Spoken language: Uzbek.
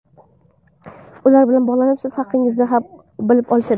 Ular bilan bog‘lanib, siz haqingizda bilib olishadi.